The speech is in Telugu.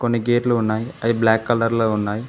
కొన్ని గేట్లు ఉన్నాయి అవి బ్లాక్ కలర్ లో ఉన్నాయి.